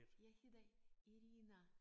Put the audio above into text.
Jeg hedder Irina